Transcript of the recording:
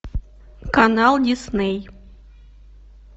канал дисней